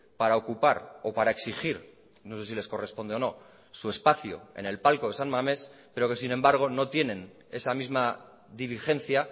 para ocupar o para exigir no sé si les corresponde o no su espacio en el palco de san mames pero que sin embargo no tienen esa misma diligencia